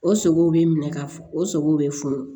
O sogow bɛ minɛ ka funu o sogow bɛ funu